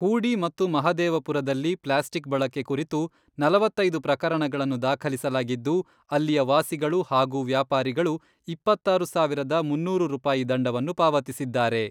ಹೂಡಿ ಮತ್ತು ಮಹದೇವಪುರದಲ್ಲಿ ಪ್ಲಾಸ್ಟಿಕ್ ಬಳಕೆ ಕುರಿತು ನಲವತ್ತೈದು ಪ್ರಕರಣಗಳನ್ನು ದಾಖಲಿಸಲಾಗಿದ್ದು, ಅಲ್ಲಿಯ ವಾಸಿಗಳು ಹಾಗೂ ವ್ಯಾಪಾರಿಗಳು ಇಪ್ಪತ್ತಾರು ಸಾವಿರದ ಮುನ್ನೂರು ರೂಪಾಯಿ ದಂಡವನ್ನು ಪಾವತಿಸಿದ್ದಾರೆ.